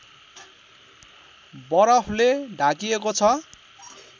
बरफले ढाकिएको छ